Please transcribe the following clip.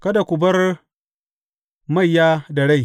Kada ku bar maiya da rai.